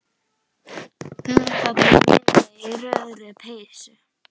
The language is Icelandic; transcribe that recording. Hún þarna niðri í rauðu peysunni.